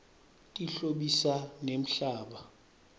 tihlobisa nemhlaba